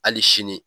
Hali sini